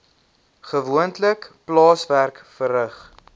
gewoonlik plaaswerk verrig